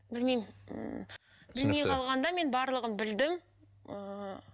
білмеймін ммм білмей қалғанда мен барлығын білдім ыыы